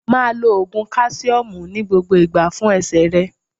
Máa lo Ògùn káṣíọ́mù ní gbogbo ìgbà fún ẹsẹ̀ rẹ.